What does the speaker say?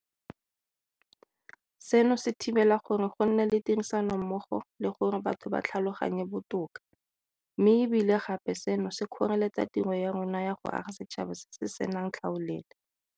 Seno se thibela gore go nne le tirisanommogo le gore batho ba tlhaloganyane botoka, mme e bile gape seno se kgoreletsa tiro ya rona ya go aga setšhaba se se senang tlhaolele.